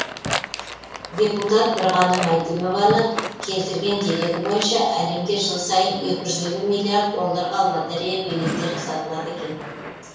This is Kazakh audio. депутат бірғаным әйтімованың келтірген дерегі бойынша әлемде жыл сайын екі жүз елу миллиард долларға лотерея билеттері сатылады екен